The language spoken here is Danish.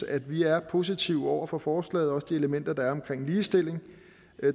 at vi er positive over for forslaget også de elementer der er omkring ligestilling